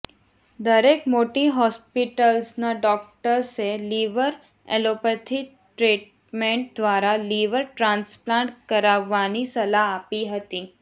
દરેક મોટી હોસ્પિટલ્સના ડોક્ટર્સે લિવર એલોપથી ટ્રીટમેન્ટ દ્વારા લિવર ટ્રાન્સપ્લાન્ટ કરાવવાની સલાહ આપી હતી